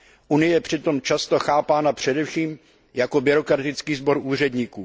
Unie je přitom často chápána především jako byrokratický sbor úředníků.